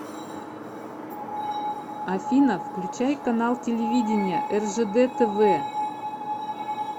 афина включай канал телевидения ржд тв